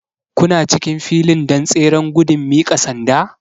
Kuna cikin filin don tseren gudun miƙa sanda?